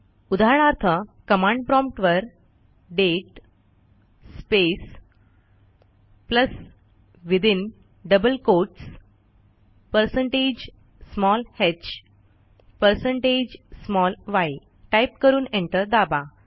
उदाहरणार्थ कमांड promptवर date space plus within double quotes percentage sign h percentage sign yटाईप करून एंटर दाबा